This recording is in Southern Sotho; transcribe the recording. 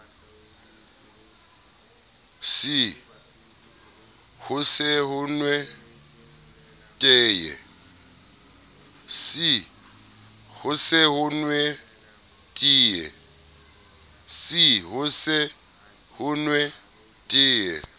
c ho se nwe teye